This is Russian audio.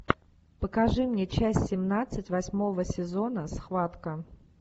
покажи мне часть семнадцать восьмого сезона схватка